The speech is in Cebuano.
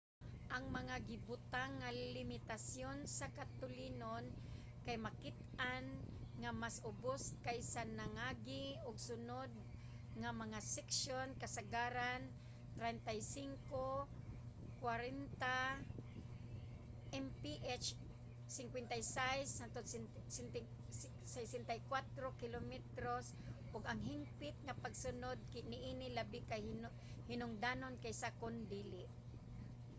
ang mga gibutang nga limitasyon sa katulinon kay makit-an nga mas ubos kaysa sa nangagi ug sunod nga mga seksyon — kasagaran 35-40 mph 56-64 km / h — ug ang higpit nga pagsunod niini labi ka hinungdanon kaysa kon dili